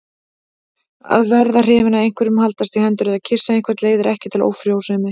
Að verða hrifinn af einhverjum, haldast í hendur eða kyssa einhvern leiðir ekki til ófrjósemi.